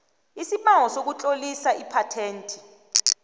isibawo sokutlolisa iphathenti